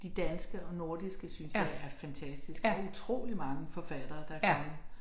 De danske og nordiske synes jeg er fantastiske og utrolig mange forfattere der kommet